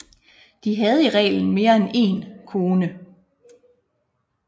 De havde i reglen mere end en kone